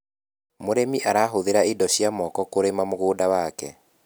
mũrĩmi arahuthira indo cia moko kurima mũgũnda wake